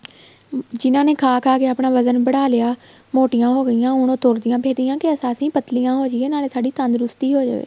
ਜਿਹਨਾ ਨੇ ਖਾ ਖਾ ਕੇ ਆਪਣਾ ਵਜਣ ਬੜਾ ਲਿਆ ਮੋਟੀਆਂ ਹੋ ਗਈਆਂ ਹੁਣ ਉਹ ਤੁਰਦੀਆਂ ਫਿਰਦੀਆਂ ਕੇ ਅਸੀਂ ਪੱਤਲੀਆਂ ਹੋ ਜਈਏ ਨਾਲੇ ਸਾਡੀ ਤੰਦਰੁਸਤੀ ਹੋ ਜਵੇ